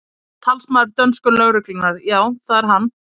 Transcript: Talsmaður dönsku lögreglunnar: Já, það er hann?